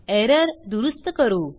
error दुरूस्त करू